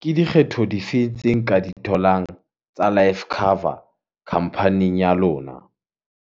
ke dikgetho di fe tse nka di tholang tsa life cover khampaning ya lona.